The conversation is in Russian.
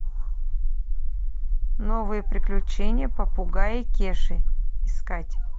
новые приключения попугая кеши искать